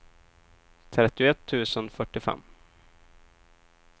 trettioett tusen fyrtiofem